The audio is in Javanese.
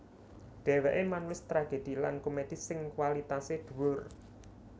Dhèwèké manulis tragedhi lan komedhi sing kwalitasé dhuwur